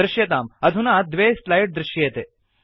दृश्यताम् अधुना द्वे स्लैड् दृश्येते